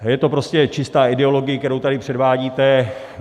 Je to prostě čistá ideologie, kterou tady předvádíte.